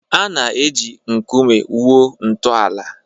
A na-eji nkume wuo ntọala.